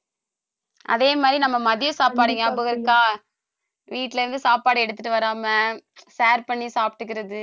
அதே மாதிரி நம்ம மதிய சாப்பாடு ஞாபகம் இருக்கா வீட்ல இருந்து சாப்பாடு எடுத்துட்டு வராம share பண்ணி சாப்பிட்டுக்கறது